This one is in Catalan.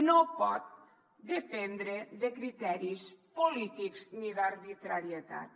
no pot dependre de criteris polítics ni d’arbitrarietats